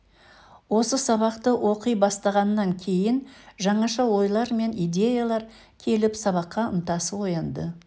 осы сабақты оқи бастағаннан кейін жаңаша ойлар мен идеялар келіп сабаққа ынтасы оянды